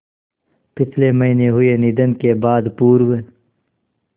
पिछले महीने हुए निधन के बाद पूर्व